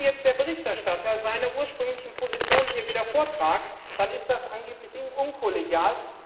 Wenn jetzt der Berichterstatter seine ursprünglichen Positionen wieder vorträgt, dann ist das angeblich unkollegial.